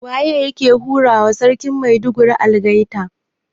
Waye yake hurawa Sarkin Maiduguri algaita?